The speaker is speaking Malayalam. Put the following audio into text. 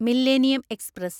millennium express